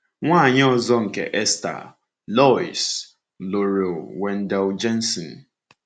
Nwaanyị ọzọ nke Esther, Lois, lụrụ Wendell Jensen.